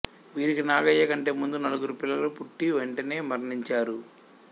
వీరికి నాగయ్య కంటే ముందు నలుగురు పిల్లలు పుట్టి వెంటనే మరణించారు